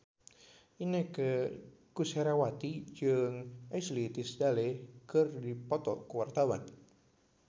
Inneke Koesherawati jeung Ashley Tisdale keur dipoto ku wartawan